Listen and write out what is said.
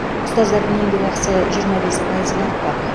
ұстаздардың еңбекақысы жиырма бес пайызға артпақ